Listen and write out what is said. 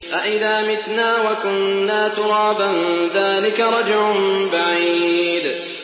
أَإِذَا مِتْنَا وَكُنَّا تُرَابًا ۖ ذَٰلِكَ رَجْعٌ بَعِيدٌ